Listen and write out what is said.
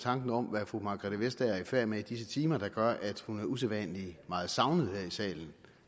tanken om hvad fru margrethe vestager er i færd med i disse timer der gør at hun er usædvanlig meget savnet